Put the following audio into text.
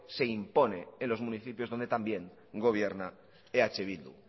se impone en los municipios donde también gobierna eh bildu